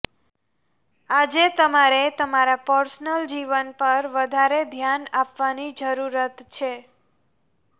આજે તમારે તમારા પર્સનલ જીવન પર વધારે ધ્યાન આપવાની જરૂરત છે